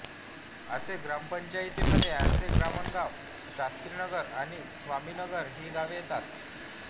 आसे ग्रामपंचायतीमध्ये आसेब्रह्मगाव शास्त्रीनगर आणि स्वामीनगर ही गावे येतात